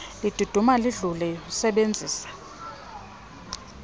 liduduma lidlule usebenzise